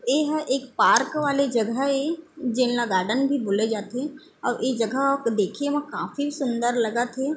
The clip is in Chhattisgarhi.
एहा एक पार्क वाले जगह हे जेन ला गार्डन भी बोले जाथे अउ ए जगह ह देखे म काफी सुंदर लगत हे|